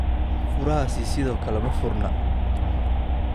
Furahaasi sidoo kale ma furna?